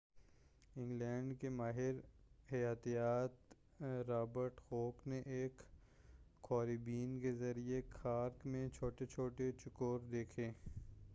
England کے ماہِر حَیاتِیات رابرٹ ہوک نے ایک خوردبین کے ذریعہ کارک میں چھوٹے چھوٹے چوکور دیکھے